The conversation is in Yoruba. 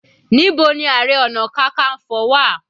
Níbo ni ààrẹ ọna kankanfo wà?